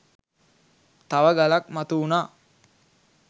තව ගලක් මතු වුනා.